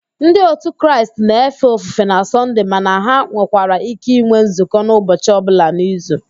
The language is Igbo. Ndi òtù Kraịst na-efe ofufe na Sọnde mana ha nwekwara íké ịnwe nzukọ n'ụbọchi ọbụla n'izu